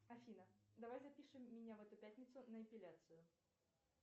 афина давай запишем меня в эту пятницу на эпиляцию